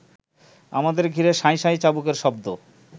আমাদের ঘিরে শাঁই শাঁই চাবুকের শব্দ